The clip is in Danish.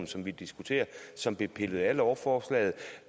som vi diskuterer og som blev pillet af lovforslaget